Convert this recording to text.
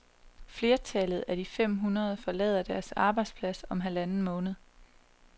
Flertallet af de fem hundrede forlader deres arbejdsplads om halvanden måned.